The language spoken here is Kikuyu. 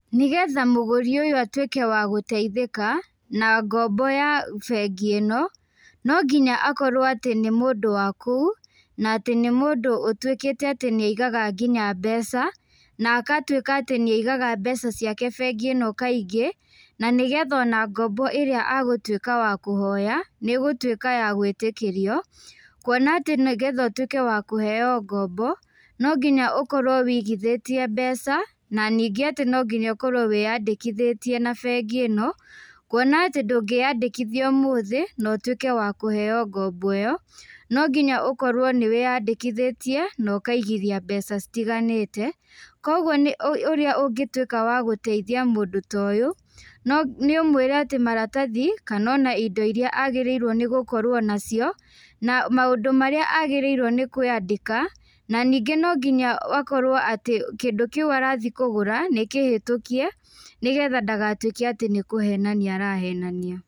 Nĩgetha mũgũri ũyũ atuĩke wa gũteithĩka, na ngombo ya bengĩ ĩno, no nginya akorwo atĩ nĩ mũndũ wa kũu, na atĩ nĩ mũndũ ũtuĩkĩte atĩ nĩaigaga nginya mbeca, na akatuĩka atĩ nĩaigaga mbeca ciake bengi ĩno kaingĩ, na nĩgetha ona ngombo ĩrĩa agũtuĩka wa kũhoya, nĩgũtuĩka ya gwĩtĩkĩrio, kuona atĩ nĩgetha ũtuĩke wa kũheo ngombo, no nginya ũkorwo wĩigithĩtiee mbeca, na ningĩ no nginya ũkorwo wĩyandĩkithĩtie na bengi ĩno, kuona atĩ ndũngĩyandĩkithia ũmũthĩ, na ũtuĩke wa kũheo ngombo ĩyo. Nonginya ũkorwo nĩwĩyandĩkithĩtie na ũkaigithia mbeca citiganĩte, koguo ũ ũrĩa ũngĩtuĩka wa gũteithia mũndũ ta ũyũ, no nĩũmwĩre atĩ maratathi, kana ona indo iria agĩrĩirwo nĩ gũkorwo nacio, na maũndũ marĩa agĩrĩirwo nĩkwandĩka, na ningĩ nonginya akorwo atĩ kĩndũ kiũ arathiĩ kũgũra nĩkĩhĩtũkie, nĩgetha ndagatuĩke atĩ nĩkũhenania arahenania.